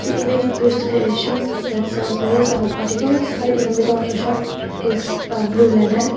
a image appears to be a shop that sells various particles right in the middle of the shop is uh blue leather.